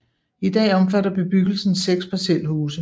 I dag omfatter bebyggelsen seks parcelhuse